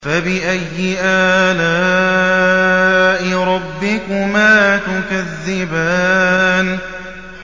فَبِأَيِّ آلَاءِ رَبِّكُمَا تُكَذِّبَانِ